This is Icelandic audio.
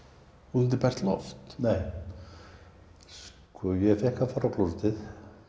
út undir bert loft nei sko ég fékk að fara á klósettið